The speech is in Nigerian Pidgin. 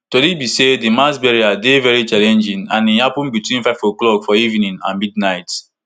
tori be say di mass burial dey veri challenging and e happun between five oclock for evening and midnight